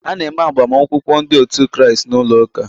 A na-eme agbamakwụkwọ ndị otu Kraịst n'ụlọ ụka.